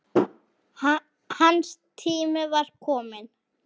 Hans tími var kominn.